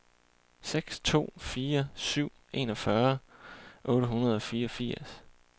seks to fire syv enogfyrre otte hundrede og fireogfirs